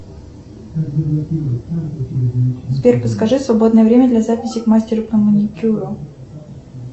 сбер подскажи свободное время для записи к мастеру по маникюру